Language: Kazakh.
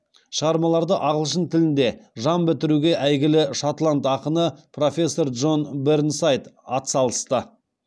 шығармаларды ағылшын тілінде жан бітіруге әйгілі шотланд ақыны профессор джон бернсайд атсалысты